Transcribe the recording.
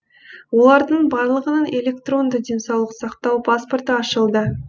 олардың барлығының электронды денсаулық сақтау паспорты ашылды